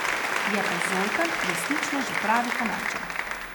Je pa Zoltan resnično že pravi Kanadčan.